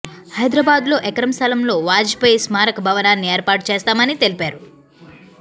హైదరాబాద్లో ఎకరం స్థలంలో వాజ్పేయి స్మారక భవనాన్ని ఏర్పాటు చేస్తామని తెలిపారు